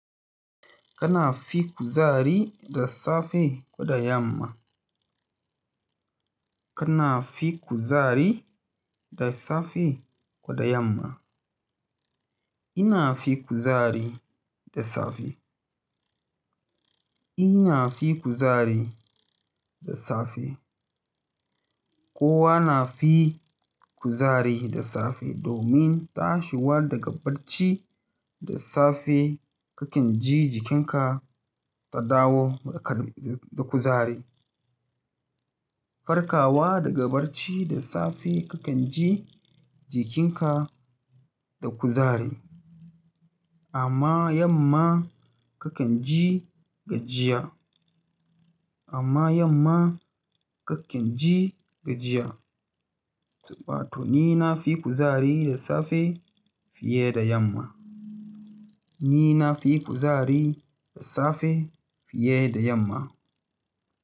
Kana fi kuzari da safe koda yamma. Kana fi kuzari da safe koda yamma. Ina fi kuzari da safe. Ina fi kuzari da safe. Kowa na fi kuzari da safe domin tashiwa daga barci da safe kakan ji jikinka ta dawo da kuzari. Farkawa daga barci da safe kakan ji jikinka da kuzari, amma yamma kakan ji gajiya, amma yamma kakan ji gajiya. Saboda haka ni na fi kuzari da safe fiye da yamma. Ni na fi kuzari da safe fiye da yamma.